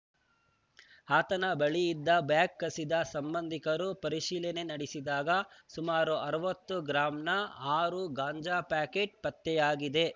ಆತನ ಬಳಿ ಇದ್ದ ಬ್ಯಾಗ್‌ ಕಸಿದ ಸಂಬಂಧಿಕರು ಪರಿಶೀಲನೆ ನಡೆಸಿದಾಗ ಸುಮಾರು ಅರವತ್ತು ಗ್ರಾಂನ ಆರು ಗಾಂಜಾ ಪ್ಯಾಕೇಟ್‌ ಪತ್ತೆಯಾಗಿದೆ